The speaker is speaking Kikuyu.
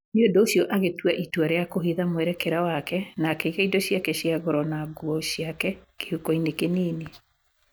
Nĩ ũndũ ũcio, agĩtua itua rĩa kũhitha mwerekera wake, na akĩiga indo ciake cia goro na nguo ciake kĩhuko-inĩ kĩnini.